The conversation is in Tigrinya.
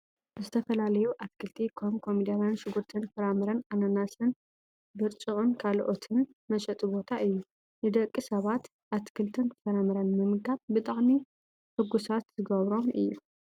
ዝተፈላለዩ ኣትክልቲ ከም ኮሚደሬን ሽጉርትን ፍራምረ ኣናናስን ብርጭቅን ካልኦትን መሸጢ ቦታ እዩ። ንደቂ ሰባት ኣትክልትን ፍራምረን ምምጋብ ብጣዕሚ ሑጉሳት ዝገብሮም እዩ።